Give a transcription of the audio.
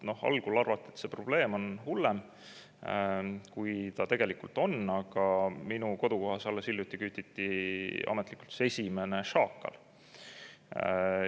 Noh, algul arvati, et see probleem on hullem, kui ta tegelikult on, aga minu kodukohas alles hiljuti kütiti ametlikult esimene šaakal.